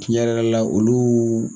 Tiɲɛ yɛrɛ yɛrɛ la olu